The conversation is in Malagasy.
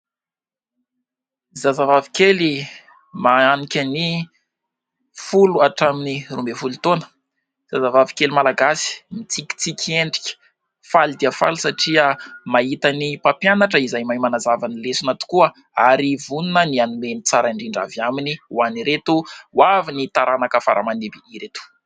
Zazavavy kely mananika ny folo hatramin'ny roa ambin'ny folo taona. Zazavavy kely Malagasy, mitsikitsiky endrika, faly dia faly satria mahita ny mpampianatra izay mahay manazava ny lesona tokoa ary vonona ny hanome ny tsara indrindra avy aminy ho an'ireto ho avin'ny taranaka fara mandimby ireto.